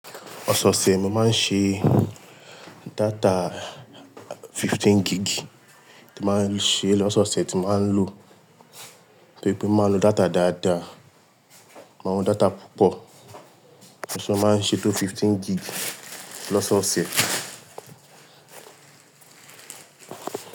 Lọ́sọ̀ọ̀sẹ̀ mo máa ń ṣe data fifteen gig ti máa ń ṣe lọ́sọ̀ọ̀sẹ̀ tí máa ń lò tó rí pé máa ń lo data dáadáa, máa ń lo data púpọ̀ mo sì máa ń ṣe tó fifteen gig lọ́sọ̀ọ̀sẹ̀.